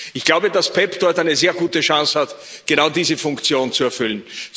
Ich glaube, dass PEPP dort eine sehr gute Chance hat, genau diese Funktion zu erfüllen.